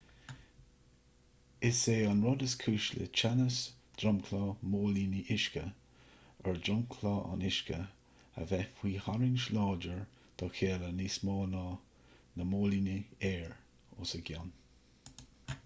is é an rud is cúis le teannas dromchla móilíní uisce ar dhromchla an uisce a bheith faoi tharraingt láidir dá chéile níos mó ná do na móilíní aeir os a gcionn